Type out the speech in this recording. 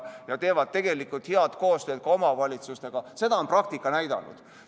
Nad teevad head koostööd ka omavalitsustega, seda on praktika näidanud.